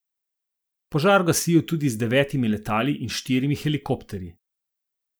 Požar gasijo tudi z devetimi letali in štirimi helikopterji.